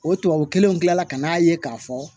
O tubabu kelenw tilala ka n'a ye k'a fɔ